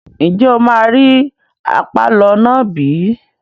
Ǹjẹ́ o máa rí àpàlọ́ náà bí?